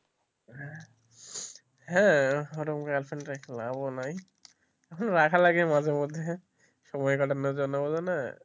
হ্যাঁ ওই রকম girl friend রেখে লাভ নাই